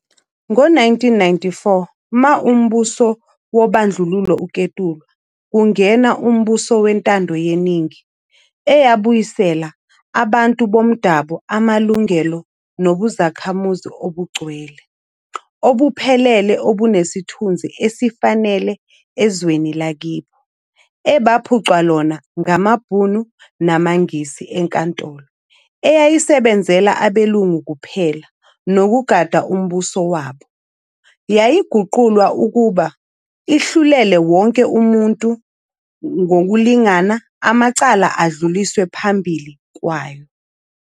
Ngezi-1994, ma umbuso wobandlululo uketulwa, kungena umbuso wentandoyeningi eyabuyisela abantu bomdabo amalungelo nobuzakhamuzi obugcwele, obuphelele obunesithunzi esifanele ezweni lakibo ebaphuncwa lona ngamaBhunu namaNgisi, leNkantolo eyayisebenzela abelungu kuphela nokugada umbuso wabo, yayiguqulwa ukuba ihlulele wonke umuntu ngokulingana amacala adluliswe phambili kwayo.